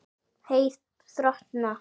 Hey þrotna.